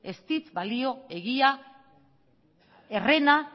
ez dit balio egia herrena